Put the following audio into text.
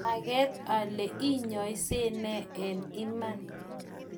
manget ale inyose nee eng iman